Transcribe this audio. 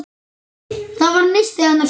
Það var nistið hennar Sólu.